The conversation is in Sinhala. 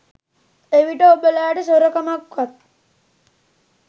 එවිට ඔබලාට සොරකමක්වත්